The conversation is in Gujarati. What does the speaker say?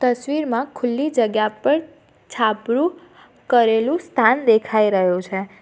તસવીરમાં ખુલ્લી જગ્યા પર છાપરું કરેલું સ્થાન દેખાઈ રહ્યું છે.